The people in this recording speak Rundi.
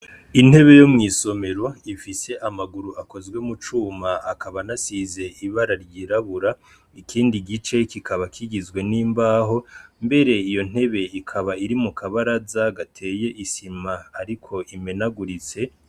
Intebe yo mw'isomero ifise amaguru akozwe mu cuma akaba anasize ibara ryirabura, ikindi gice kikaba kigizwe n'imbaho, mbere iyo ntebe ikaba iri mu kabaraza gateye isima ariko imenaguritse.